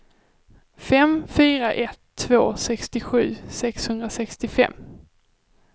fem fyra ett två sextiosju sexhundrasextiofem